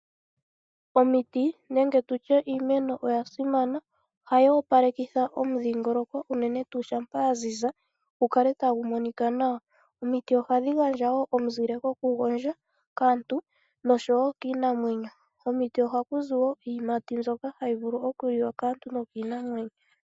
Omiti nenge tutye iimeno oya simana, ohayi opalekitha omudhingoloko unene tuu shampa ya ziza gukale tagu monika nawa. Omiti ohadhi gandja wo omuzile goku gondja kaantu noshowo kiinamwenyo. Komiti ohaku zi wo iiyimati yokuliwa kaantu nokiinamwenyo.